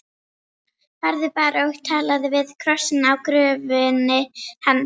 Farðu bara og talaðu við krossinn á gröfinni hans.